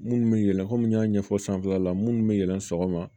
Minnu bɛ yɛlɛn komi n y'a ɲɛfɔ sanfɛla la minnu bɛ yɛlɛn sɔgɔma